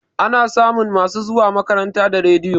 Ana samun masu zuwa makaranta da rediyo